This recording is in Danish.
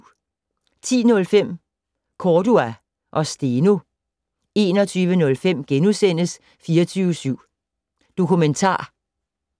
10:05: Cordua og Steno 21:05: 24syv Dokumentar *